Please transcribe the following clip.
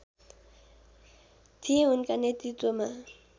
थिए उनका नेतृत्वमा